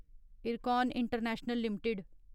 IRCON international limited